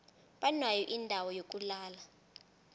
banayo indawo yokulala